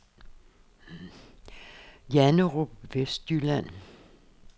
Janderup Vestjylland